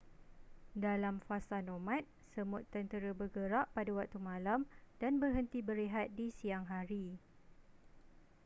dalam fasa nomad semut tentera bergerak pada waktu malam dan berhenti berehat di siang hari